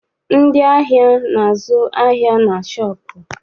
Ndị ahịa na- azụ ahịa na shọọpụ.